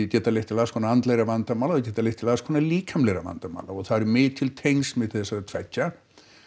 geta leitt til alls konar andlegra vandamála geta leitt til alls konar líkamlegra vandamála og það eru mikil tengsl milli þessara tveggja